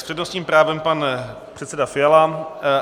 S přednostním právem pan předseda Fiala.